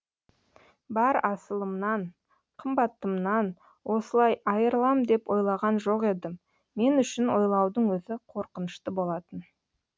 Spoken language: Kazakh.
бар асылымнан қымбатымнан осылай айырылам деп ойлаған жоқ едім мен үшін ойлаудың өзі қорқынышты болатын